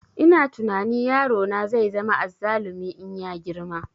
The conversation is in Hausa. Ina tunani yaro na zai zama azzalumi in ya girma